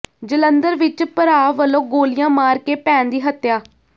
ਜਲੰਧਰ ਵਿਚ ਭਰਾ ਵੱਲੋਂ ਗੋਲੀਆਂ ਮਾਰ ਕੇ ਭੈਣ ਦੀ ਹੱਤਿਆ